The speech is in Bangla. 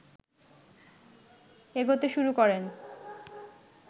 এগোতে শুরু করেন